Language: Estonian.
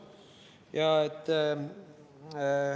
Ja et ...